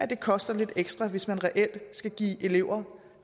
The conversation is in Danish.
det koster lidt ekstra hvis man reelt skal give elever